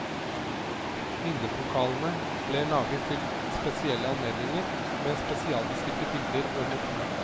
Minnepokalene ble laget til spesielle anledninger, med spesialbestilte bilder og motiv.